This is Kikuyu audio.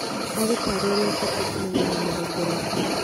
Agũtaare ũrĩa ũbatiĩ kũmenyerera mũgongo waku